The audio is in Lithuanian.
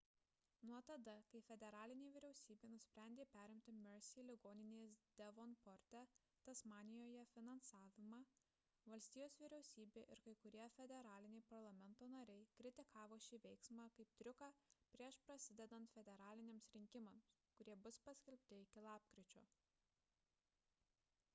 nuo tada kai federalinė vyriausybė nusprendė perimti mersey ligoninės devonporte tasmanijoje finansavimą valstijos vyriausybė ir kai kurie federaliniai parlamento nariai kritikavo šį veiksmą kaip triuką prieš prasidedant federaliniams rinkimams kurie bus paskelbti iki lapkričio